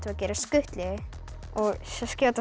að gera skutlu og skjóta